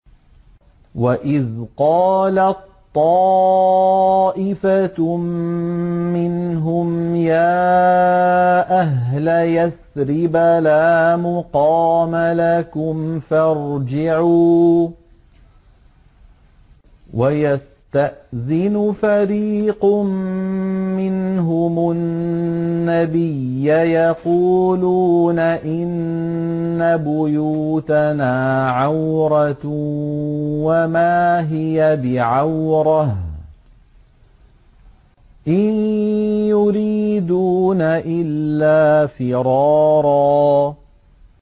وَإِذْ قَالَت طَّائِفَةٌ مِّنْهُمْ يَا أَهْلَ يَثْرِبَ لَا مُقَامَ لَكُمْ فَارْجِعُوا ۚ وَيَسْتَأْذِنُ فَرِيقٌ مِّنْهُمُ النَّبِيَّ يَقُولُونَ إِنَّ بُيُوتَنَا عَوْرَةٌ وَمَا هِيَ بِعَوْرَةٍ ۖ إِن يُرِيدُونَ إِلَّا فِرَارًا